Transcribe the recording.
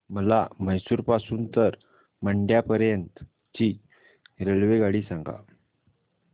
मला म्हैसूर पासून तर मंड्या पर्यंत ची रेल्वेगाडी सांगा